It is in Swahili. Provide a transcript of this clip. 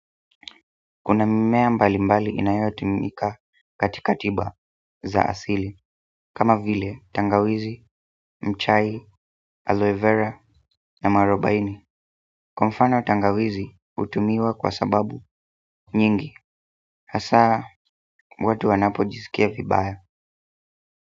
Kuna mimea mbali mbali inayotumika katika tiba za asili kama vile tangawizi, mchai, aloe vera na mwarobaini kwa mfano tangawizi hutumiwa kwa sababu nyingi hasa watu wanapo jizikia vibaya.